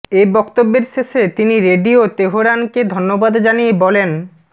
এ বক্তব্যের শেষে তিনি রেডিও তেহরানকে ধন্যবাদ জানিয়ে বলেন